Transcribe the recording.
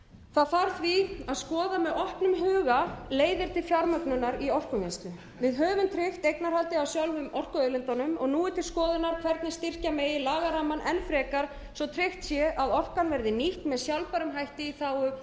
það þarf því að skoða með opnum huga leiðir til fjármögnunar í orkuvinnslu við höfum tryggt eignarhaldið á sjálfum orkuauðlindunum nú er til skoðunar hvernig styrkja megi lagarammann enn frekar svo tryggt sé að orkan verði nýtt með sjálfbærum hætti í þágu